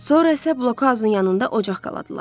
Sonra isə blokhauzun yanında ocaq qaldılar.